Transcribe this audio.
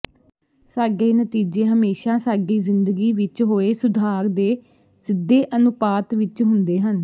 ਸਾਡੇ ਨਤੀਜੇ ਹਮੇਸ਼ਾ ਸਾਡੀ ਜ਼ਿੰਦਗੀ ਵਿੱਚ ਹੋਏ ਸੁਧਾਰ ਦੇ ਸਿੱਧੇ ਅਨੁਪਾਤ ਵਿੱਚ ਹੁੰਦੇ ਹਨ